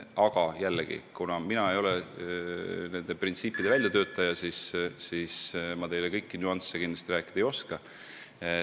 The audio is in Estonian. Aga jällegi, kuna mina ei ole nende printsiipide väljatöötaja, siis ma teile kõiki nüansse kindlasti selgitada ei oska.